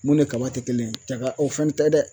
Mun ni kaba te kelen ye jaga o fɛnɛ tɛ dɛ